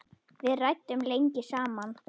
Við ræddum lengi saman.